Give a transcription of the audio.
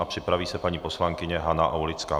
A připraví se paní poslankyně Hana Aulická.